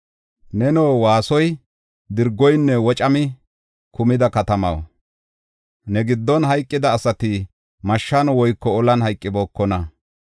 Neno waasoy, dirgoyinne wocami kumida katamaw, ne giddon hayqida asati mashshan woyko olan hayqibookona.